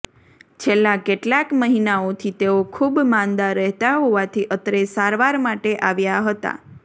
છેલ્લા કેટલાક મહિનાઓથી તેઓ ખૂબ માંદા રહેતા હોવાથી અત્રે સારવાર માટે આવ્યા હતા